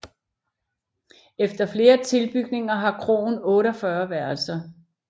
Efter flere tilbygninger har kroen 48 værelser